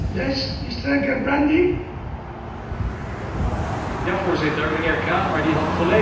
Voorzitter, meneer Krahmer had volledig gelijk gehad, als wij een goed functionerend ETS systeem hadden gehad.